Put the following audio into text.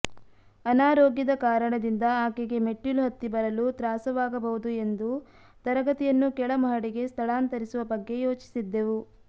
ಅನಾರೋಗ್ಯದ ಕಾರಣದಿಂದ ಆಕೆಗೆ ಮೆಟ್ಟಿಲು ಹತ್ತಿ ಬರಲು ತ್ರಾಸವಾಗಬಹುದು ಎಂದು ತರಗತಿಯನ್ನು ಕೆಳಮಹಡಿಗೆ ಸ್ಥಳಾಂತರಿಸುವ ಬಗ್ಗೆ ಯೋಚಿಸಿದ್ದೆವು